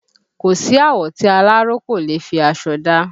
Kò sí àwọ̀ tí aláró kò leè fi aṣọ dá